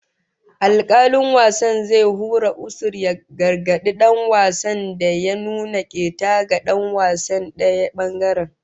Alkalin wasan zai hura usur ya gargadi dan wasan da ya nuna keta ga dan wasan daya bangaren